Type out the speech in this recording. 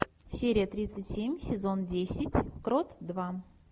серия тридцать семь сезон десять крот два